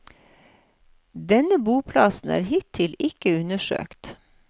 Denne boplassen er hittil ikke undersøkt.